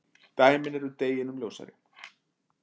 Dæmin eru deginum ljósari.